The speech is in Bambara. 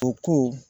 U ko